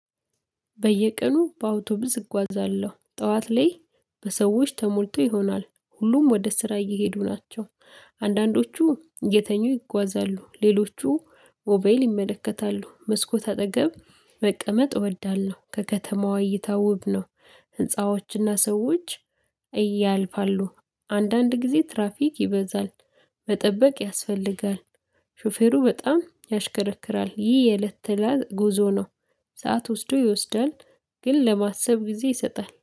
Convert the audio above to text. በየቀኑ በአውቶብስ እጓዛለሁ ጠዋት ላይ በሰዎች ተሞልቶ ይሆናል ሁሉም ወደ ስራ እየሄዱ ናቸው። አንዳንዶቹ እየተኙ ይጓዛሉ ሌሎቹ ሞባይል ይመለከታሉ መስኮት አጠገብ መቀመጥ እወዳለው። ከከተማዋ እይታ ውብ ነው ህንፃዎችና ሰዎች። እያልፋሉ አንዳንድ ጊዜ ትራፊክ ይበዛል። መጠበቅ ያስፈልጋል። ሾፌሩ በጣም ያሽከረክራል ይህ የእለት ተእለት ጉዞ ነው። ሰዓት ወስዶ ይወስዳል። ግን ለማሰብ ጊዜ ይሰጣል